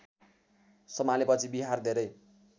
सम्हालेपछि बिहार धेरै